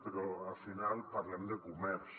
però al final parlem de comerç